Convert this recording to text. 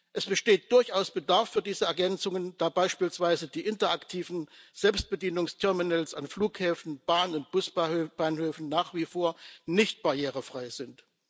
Es besteht durchaus Bedarf für diese Ergänzungen, da beispielsweise die interaktiven Selbstbedienungsterminals an Flughäfen, Bahn und Busbahnhöfen nach wie vor nicht barrierefrei sind.